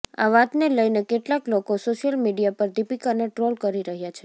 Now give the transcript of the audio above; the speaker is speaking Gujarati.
આ વાતને લઈને કેટલાંક લોકો સોશિયલ મીડિયા પર દીપિકાને ટ્રોલ કરી રહ્યા છે